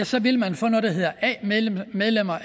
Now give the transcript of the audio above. så vil få noget der hedder a medlemmer